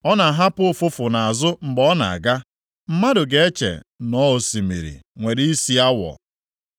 Ọ na-ahapụ ụfụfụ nʼazụ mgbe ọ na-aga; mmadụ ga-eche na ọ osimiri nwere isi awọ.